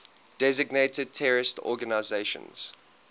designated terrorist organizations